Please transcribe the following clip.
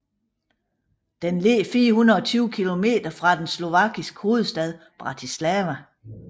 Den ligger 420 kilometer fra den slovakiske hovedstad Bratislava